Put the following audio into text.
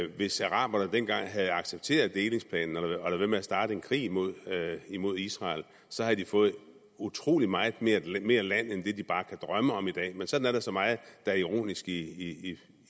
hvis araberne dengang havde accepteret delingsplanen og ladet være med at starte en krig mod krig mod israel havde de fået utrolig meget mere land mere land end det de bare kan drømme om i dag men sådan er der så meget der er ironisk i